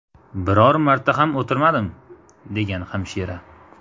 Biror marta ham o‘tirmadim”, degan hamshira.